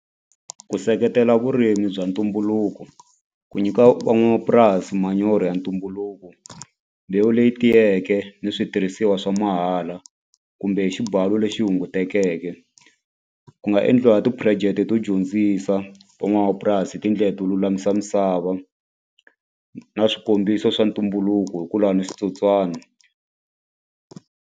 Ku seketela vurimi bya ntumbuluko ku nyika van'wamapurasi manyoro ya ntumbuluko mbewu leyi tiyeke ni switirhisiwa swa mahala kumbe hi xibalo lexi hungutekeke eke ku nga endliwa ti-project to dyondzisa van'wamapurasi hi tindlela to lulamisa misava na swikombiso swa ntumbuluko hi ku lwa ni switsotswana.